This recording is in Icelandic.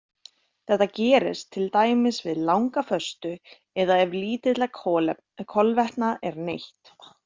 Þetta gerist til dæmis við langa föstu eða ef lítilla kolvetna er neytt.